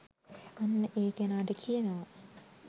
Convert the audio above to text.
අන්න ඒ කෙනාට කියනව